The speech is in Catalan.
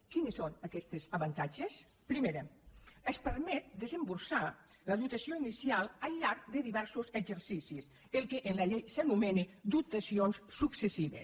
quins són aquests avantatges primer es permet desemborsar la dotació inicial al llarg de diversos exercicis el que en la llei s’anomena dotacions successives